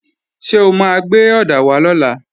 Ṣé o máa gbé ọ̀dà wá lọ́la?